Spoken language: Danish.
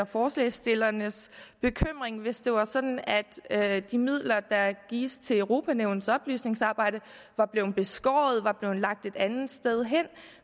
forslagsstillernes bekymring hvis det var sådan at de midler der gives til europa nævnets oplysningsarbejde var blevet beskåret eller lagt et andet sted hen